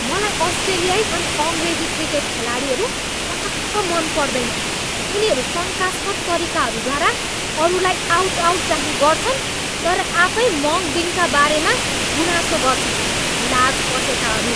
मलाई अस्ट्रेलियाई अनि अङ्ग्रेजी क्रिकेट खेलाडीहरू पटक्क मन पर्दैन। उनीहरू शङ्कास्पद तरिकाहरूद्वारा अरूलाई आउट आउटचाहिँ गर्छन् तर आफै मङ्कडिङका बारेमा गुनासो गर्छन्। लाज पचेकाहरू!